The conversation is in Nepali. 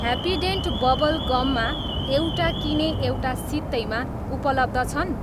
ह्याप्पीडेन्ट बबल गममा 'एउटा किने, एउटा सित्तैमा' उपलब्ध छन्?